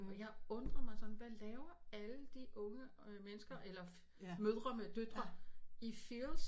Og jeg undrede mig sådan hvad laver alle de unge øh mennesker eller mødre med døtre i Fields